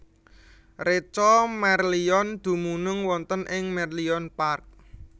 Reca Merlion dumunung wonten ing Merlion Park